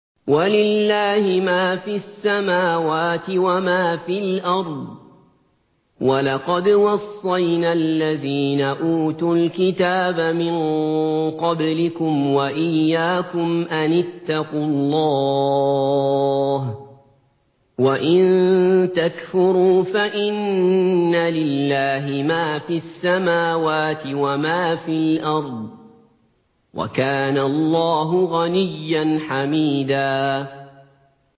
وَلِلَّهِ مَا فِي السَّمَاوَاتِ وَمَا فِي الْأَرْضِ ۗ وَلَقَدْ وَصَّيْنَا الَّذِينَ أُوتُوا الْكِتَابَ مِن قَبْلِكُمْ وَإِيَّاكُمْ أَنِ اتَّقُوا اللَّهَ ۚ وَإِن تَكْفُرُوا فَإِنَّ لِلَّهِ مَا فِي السَّمَاوَاتِ وَمَا فِي الْأَرْضِ ۚ وَكَانَ اللَّهُ غَنِيًّا حَمِيدًا